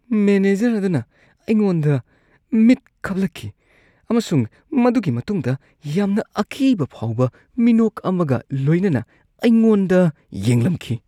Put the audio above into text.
Manager ꯑꯗꯨꯅ ꯑꯩꯉꯣꯟꯗ ꯃꯤꯠ ꯈꯞꯂꯛꯈꯤ ꯑꯃꯁꯨꯡ ꯃꯗꯨꯒꯤ ꯃꯇꯨꯡꯗ ꯌꯥꯝꯅ ꯑꯀꯤꯕ ꯐꯥꯎꯕ ꯃꯤꯅꯣꯛ ꯑꯃꯒ ꯂꯣꯏꯅꯅ ꯑꯩꯉꯣꯟꯗ ꯌꯦꯡꯂꯝꯈꯤ꯫